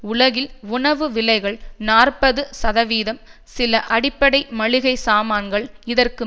உலகில் உணவு விலைகள் நாற்பது சதவீதம் சில அடிப்படை மளிகை சாமான்கள் இதற்கும்